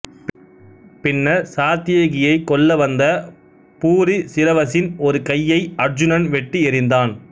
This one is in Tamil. பின்னர் சாத்தியகியை கொல்ல வந்த பூரிசிரவசின் ஒரு கையை அருச்சுனன் வெட்டி எறிந்தான்